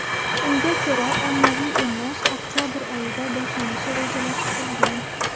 Unga ko‘ra, ommaviy emlash oktabr oyida boshlanishi rejalashtirilgan.